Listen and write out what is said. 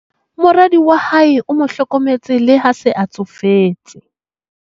moradi wa hae o mo hlokometse le ha a se a tsofetse